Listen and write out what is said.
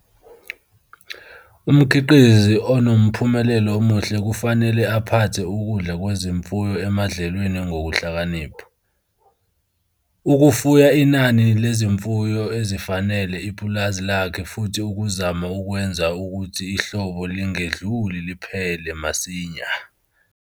Umkhiqizi onomphumelelo omuhle kufanele aphathe ukudla kwezimfuyo emadlelweni ngokuhlakanipha, ukufuya inani lezimfuyo ezifanele ipulazi lakhe futhi ukuzama ukwenza ukuthi ihlobo lingedluli liphele masinya!